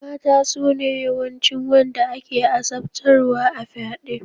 Mata sune yawancin wanda ake azabtarwa a fyaɗe.